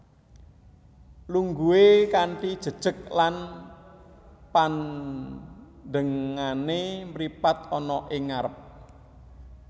Lungguhe kanthi jejeg lan pandengane mripat ana ing ngarep